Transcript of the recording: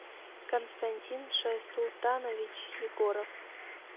константин шайсултанович егоров